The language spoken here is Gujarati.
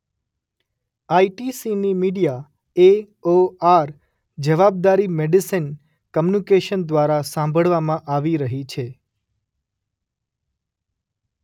આ_શબ્દ ઈ_શબ્દ ટી_શબ્દ સી_શબ્દ ની મિડિયા એ_શબ્દ ઓ_શબ્દ આર_શબ્દ જવાબદારી મેડિસન કોમ્યુનિકેશન દ્વારા સાંભળવામાં આવી રહી છે.